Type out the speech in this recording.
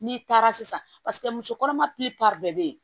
N'i taara sisan paseke muso kɔnɔma bɛɛ bɛ yen